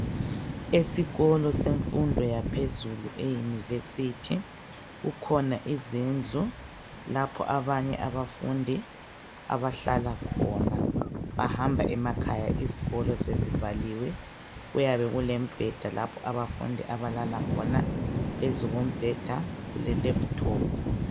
Esikolo semfundo yaphezulu eyunivesithi, kukhona izindlu lapho abanye abafundi abahlala khona. Bahamba emakhaya izikolo sezivaliwe. Kuyabe kulemibheda lapho abafundi abalala khona. Phezu kombheda kulelephuthophu.